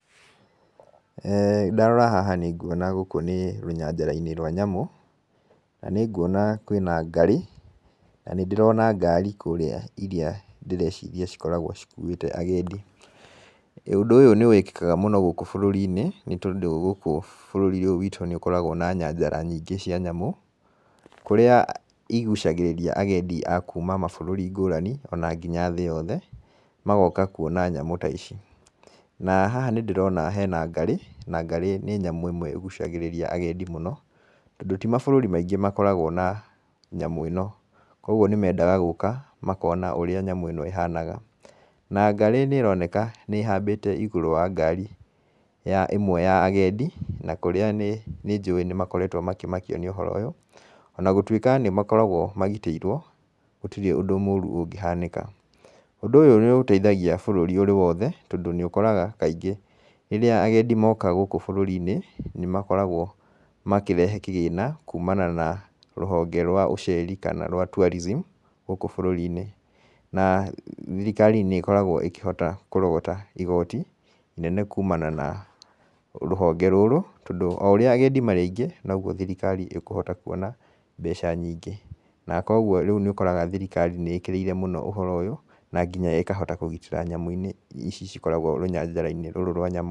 Ndarora haha nĩngŭona gŭkŭ nĩ rŭnyajarainĩ rwa nyamŭ, na nĩngŭona kwĩna ngarĩ, na nĩdĩrona ngari kŭrĩa irĩa dĩreciria cikoragwo cikŭŭĩte agendi, ŭndŭ ŭyŭ nĩwĩkĩkaga mŭno gŭkŭ bŭrŭriinĩ nĩtondŭ gŭkŭ bŭrŭri ŭyŭ wiitŭ nĩŭkoragwo na nyanjara nyingĩ cia nyamŭ, kŭrĩa igŭcagĩrĩria agedi a kŭŭma mabŭrŭri ngŭrani, ona nginya thĩ yothe, magoka kŭona nyamŭ ta ici. Na haha nĩdĩrona hena ngarĩ, na ngarĩ nĩ nyamŭ ĩmwe ĩgŭcagĩrĩria agedi mŭno tondŭ ti mabŭrŭri maingĩ makoragwo na nyamŭ ĩno kŭogŭo nĩ medaga gŭka makona ŭrĩa nyamŭ ĩno ihanaga na ngarĩ nĩĩroneka nĩhambĩte igŭrŭ wa ngari ĩmwe ya agedi na kŭrĩa nĩjŭĩ nĩmakoretwo makĩmakio nĩ ŭhoro ŭyŭ ona gŭtŭĩka nĩmakoragwo magitĩirwo gŭtirĩ ŭndŭ mŭŭrŭ ŭngĩhanĩka. Ŭndŭ ŭyŭ nĩŭteithagia bŭrŭri ŭrĩ wothe tondŭ nĩŭkoraga kaingĩ rĩrĩa agedi moka gŭkŭ bŭrŭriinĩ nĩmakoragwo makĩrehe kĩgĩna kŭŭmana na rŭhonge rwa ŭceri kana rwa tŭarizim gŭkŭ bŭrŭriinĩ na thirikari nĩĩkoragwo ĩkĩhota kŭrogota igoti inene kŭmana na rŭhonge rŭrŭ tondŭ o ŭrĩaagedi marĩ aingĩ nogŭo thirikari ĩkŭhota kŭona mbeca nyingĩ, na kŭogŭo rĩŭ nĩŭkoraga thirikari nĩĩkĩrĩire mŭno ŭhoro ŭyŭ na nginya ĩkahota kŭgitĩra nginya nyamŭ ici cikoragwo rŭnyajarainĩ rŭrŭ rwa nyamŭ.